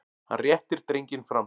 Hann réttir drenginn fram.